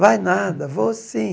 Vai nada, vou sim.